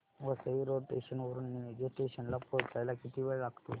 Vasai road station वरून Nilje station ला पोहचायला किती वेळ लागतो